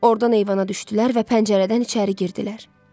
Ordan eyvana düşdülər və pəncərədən içəri girdilər.